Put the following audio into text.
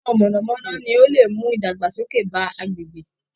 Iná mọ̀nà-mọ́ná ni ó lè mú idagbasoke bá agbègbè